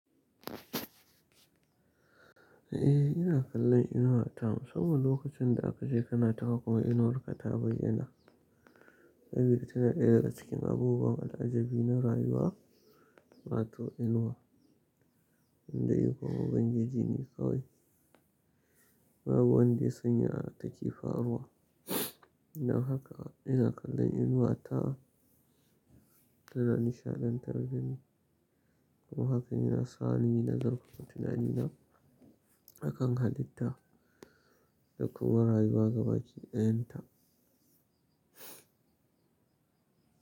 Eh ina kallon Inuwa ta saboda lokacin da aka je kanata kuma Inuwar kata bai yana. Sabida tana ɗaya daga cikin abubuwan al'ajabi na rayuwa, wato Inuwa. Inda ikonb ubangijine kawai. Babu wanda ya sanya a haka yake faruwa. Ina haka, ina kallon Inuwa ta tana nishaɗantar da ni. Kuma haka yana sa ni nazartar tunanina akan halitta da kuma rayuwa gabaki ɗayan ta.